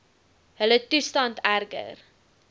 hulle toestand erger